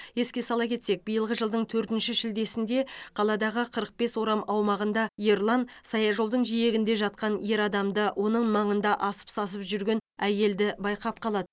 еске сала кетсек биылғы жылдың төртінші шілдесінде қаладағы қырық бес орам аумағында ерлан саяжолдың жиегінде жатқан ер адамды оның маңында асып сасып жүрген әйелді байқап қалады